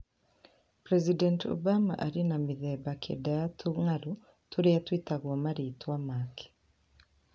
President Obama arĩ na mĩthemba kenda ya tũng'aurũ tũrĩa twĩtagwo marĩĩtwa make.